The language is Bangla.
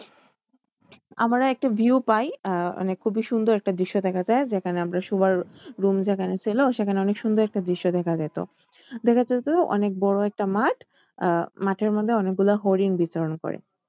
আমরা একটা view পাই আহ মানে খুবই সুন্দর একটা দৃশ্য দেখা যায় যেখানে আমরা শোবার room যেখানে ছিল সেখানে অনেক সুন্দর একটা দৃশ্য দেখা যেত। দেখা যেত অনেক বড়ো একটা মাঠ আহ মাঠের মধ্যে অনেক গুলো হরিণ বিচরণ করে।